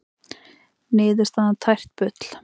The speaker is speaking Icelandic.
Niðurstaðan tært bull